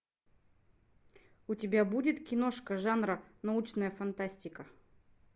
у тебя будет киношка жанра научная фантастика